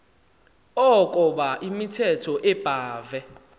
ukoba imithetho ebhahve